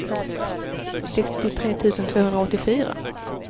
sextiotre tusen tvåhundraåttiofyra